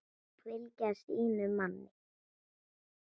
Fylgja sínum manni.